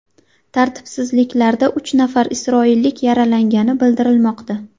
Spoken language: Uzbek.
Tartibsizliklarda uch nafar isroillik yaralangani bildirilmoqda.